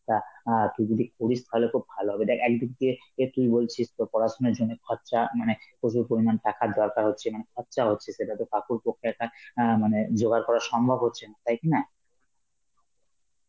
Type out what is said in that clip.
তা আ তুই যদি করিস তাহলে তো ভালো হবে, দেখ একদিক দিয়ে এ তুই বলছিস তোর পড়াশোনার জন্য খরচা, মানে প্রচুর পরিমাণ টাকার দরকার হচ্ছে মানে খরচা হচ্ছে, সেটা তো কাকুর পক্ষে একটা অ্যাঁ মানে জোগাড় করা সম্ভব হচ্ছে না, তাই কিনা?